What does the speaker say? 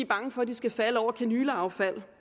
bange for at de skal falde over kanyleaffald